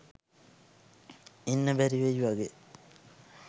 ඉන්න බැරිවෙයි වගේ